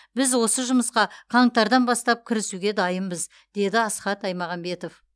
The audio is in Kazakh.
біз осы жұмысқа қаңтардан бастап кірісуге дайынбыз деді асхат аймағамбетов